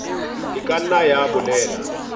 e ka nna ya bolela